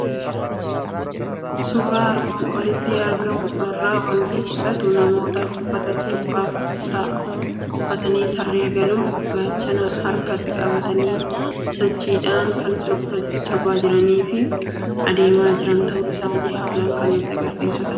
Suuraa armaan olitti argamu irraa waanti mul'atu; namoota uffata sirbaaf ta'u uffatanii tarree galuun gaachana harkatti qabatanii sochiidhaan kan sirbaa jiranifi adeema jiran ta'uu isaani haalan kan nutti agarsiisufi hubachiisudha.